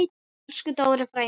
Elsku Dóri frændi.